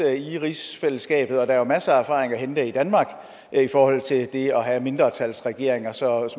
i rigsfællesskabet og der er jo masser af erfaring at hente i danmark i forhold til det at have mindretalsregeringer så